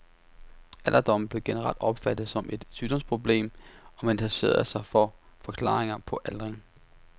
Alderdommen blev generelt opfattet som et sygdomsproblem og man interesserede sig for forklaringer på aldring.